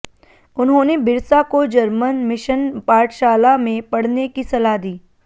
उन्होंने बिरसा को German mission पाठशाला में पढने की सलाह दी